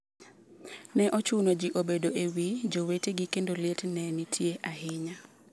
Ne ochuno ji obedo e wi jowetegi kendo liet ne nitie ahinya.